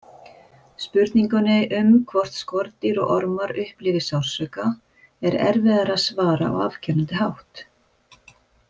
Spurningunni um hvort skordýr og ormar upplifi sársauka er erfiðara að svara á afgerandi hátt.